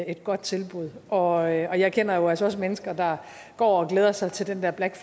et godt tilbud og jeg kender jo altså også mennesker der går og glæder sig til den der black